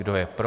Kdo je pro?